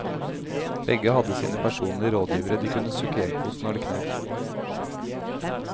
Begge hadde sine personlige rådgivere de kunne søke hjelp hos når det knep.